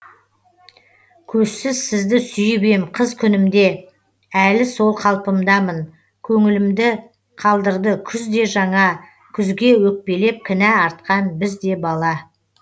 көзсіз сізді сүйіп ем қыз күнімде әлі сол қалпымдамын көңілімді қалдырды күз де жаңа күзге өкпелеп кінә артқан біз де бала